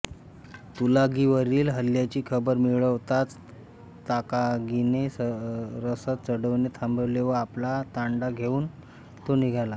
तुलागीवरील हल्ल्याची खबर मिळताच ताकागीने रसद चढवणे थांबवले व आपला तांडा घेउन तो निघाला